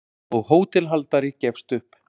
og hótelhaldari gefst upp.